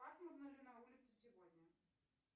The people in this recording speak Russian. пасмурно ли на улице сегодня